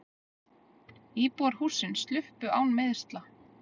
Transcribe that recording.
Íbúar hússins sluppu án meiðsla.